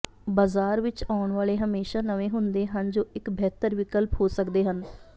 ਬਾਜ਼ਾਰ ਵਿਚ ਆਉਣ ਵਾਲੇ ਹਮੇਸ਼ਾ ਨਵੇਂ ਹੁੰਦੇ ਹਨ ਜੋ ਇੱਕ ਬਿਹਤਰ ਵਿਕਲਪ ਹੋ ਸਕਦੇ ਹਨ